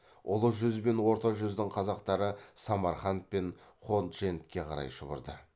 ұлы жүз бен орта жүздің қазақтары самарқан пен ходжентке қарай шұбырды